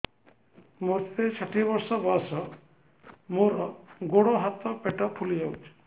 ମୋତେ ଷାଠିଏ ବର୍ଷ ବୟସ ମୋର ଗୋଡୋ ହାତ ପେଟ ଫୁଲି ଯାଉଛି